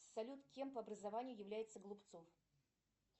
салют кем по образованию является голубцов